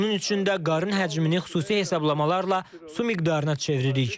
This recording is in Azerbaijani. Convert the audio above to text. Bunun üçün də qarın həcmini xüsusi hesablamalarla su miqdarına çeviririk.